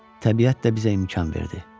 Təbiət də bizə imkan verdi.